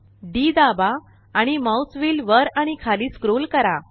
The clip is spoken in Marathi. डी दाबा आणि माउस व्हील वर आणि खाली स्क्रोल करा